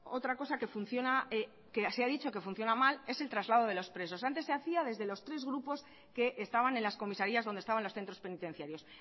otra cosa que funciona mal que se ha dicho que funciona mal es el traslado de los presos antes se hacía desde los tres grupos que estaban en las comisarías donde estaban los centros penitenciarios